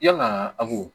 Yalaa awɔ